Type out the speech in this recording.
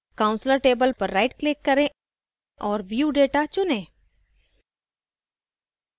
counselor table पर rightclick करें और view data चुनें